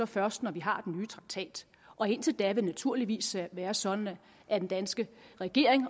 først når vi har den nye traktat indtil da vil det naturligvis være sådan at den danske regering